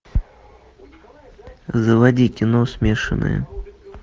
заводи кино смешанные